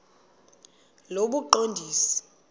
lobuqondisi